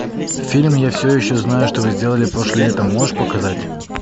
фильм я все еще знаю что вы сделали прошлым летом можешь показать